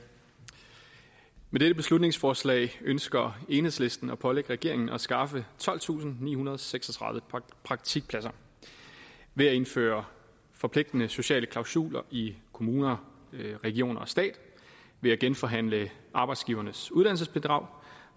med dette beslutningsforslag ønsker enhedslisten at pålægge regeringen at skaffe tolvtusinde og nihundrede og seksogtredive praktikpladser ved at indføre forpligtende sociale klausuler i kommuner regioner og stat ved at genforhandle arbejdsgivernes uddannelsesbidrag